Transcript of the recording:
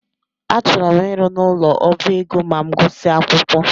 Achọrọ m ịrụ n'ụlọ ọbá ego ma m gusia akwụkwọ